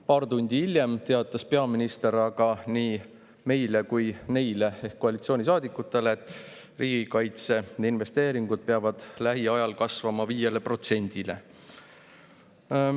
Paar tundi hiljem aga teatas peaminister nii meile kui ka koalitsioonisaadikutele, et riigikaitseinvesteeringud peavad lähiajal kasvama 5%-ni.